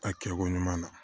A kɛko ɲuman na